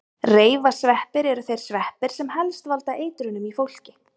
Reifasveppir eru þeir sveppir sem helst valda eitrunum í fólki.